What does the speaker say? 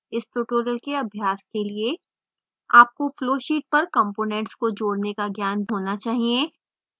इस tutorial के अभ्यास के लिए आपको flowsheet पर components को जोड़ने का ज्ञान होना चाहिए